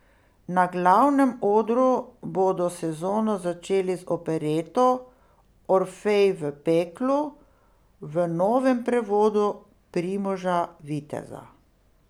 Na glavnem odru bodo sezono začeli z opereto Orfej v peklu v novem prevodu Primoža Viteza.